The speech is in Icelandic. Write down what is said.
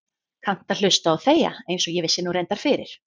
Kannt að hlusta og þegja einsog ég vissi nú reyndar fyrir.